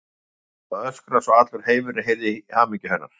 Og hana langaði að öskra svo að allur heimurinn heyrði í hamingju hennar.